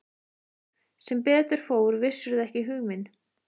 Sem betur fór vissirðu ekki hug minn.